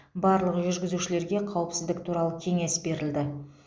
барлық жүргізушілерге қауіпсіздік туралы кеңес берілді